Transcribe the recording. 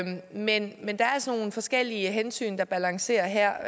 men men der er altså nogle forskellige hensyn der balancerer her